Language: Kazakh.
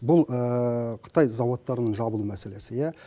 бұл қытай зауыттарының жабылу мәселесі ия